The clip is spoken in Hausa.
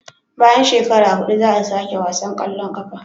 Bayan shekara hudu za a sake wasan kwallon kafa